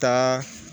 Taa